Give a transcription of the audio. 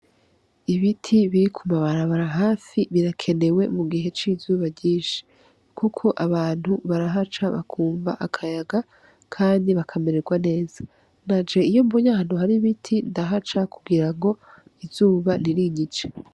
Ibiti biri ku mabarabara hafi birakenwe mu gihe c'izuba ryinshi, kuko abantu barahaca bakumva akayaga kandi bakamererwa neza, nanje iyo mbonye ahantu hari ibiti ndahaca kugira ngo izuba ntirinyice.